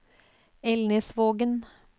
Elnesvågen